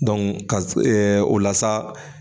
ka ɛ o la sa